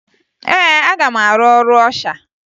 Ee, aga m arụ ọrụ ọsha